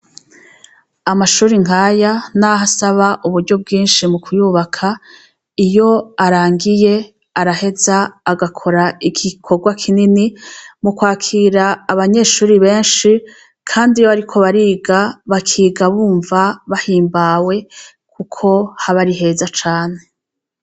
Amashuri nkaya, naho asaba uburyo bwinshi mu kuyubaka iyo arangiye araheza agakora igikorwa kinini mu kwakira abanyeshuri benshi, kandi iyo, ariko bariga bakiga bumva bahimbawe, kuko haba ari heza cane.